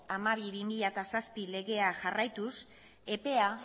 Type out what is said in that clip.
hamabi barra bi mila zazpi legea jarraituz epea